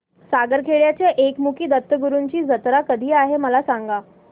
सारंगखेड्याच्या एकमुखी दत्तगुरूंची जत्रा कधी आहे मला सांगा